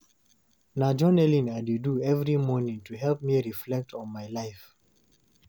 Na journaling I dey do every morning to help me reflect on my life.